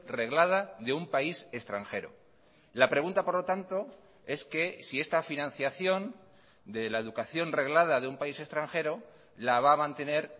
reglada de un país extranjero la pregunta por lo tanto es que si esta financiación de la educación reglada de un país extranjero la va a mantener